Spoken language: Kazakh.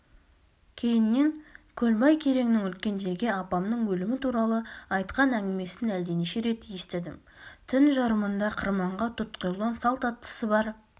кейіннен көлбай кереңнің үлкендерге апамның өлімі туралы айтқан әңгімесін әлденеше рет естідім түн жарымында қырманға тұтқиылдан салт аттысы бар